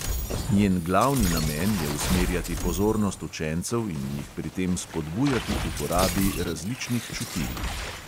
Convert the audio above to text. Njen glavni namen je usmerjati pozornost učencev in jih pri tem spodbujati k uporabi različnih čutil.